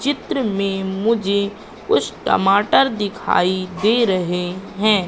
चित्र में मुझे कुछ टमाटर दिखाई दे रहे हैं।